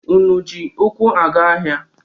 Unu ji ụkwụ aga ahịa?